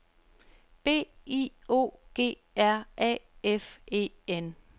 B I O G R A F E N